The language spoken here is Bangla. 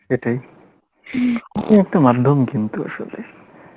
সেটাই এই একটা মাধ্যম কিন্তু আসলে